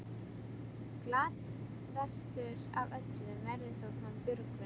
Glaðastur af öllum verður þó hann Björgvin.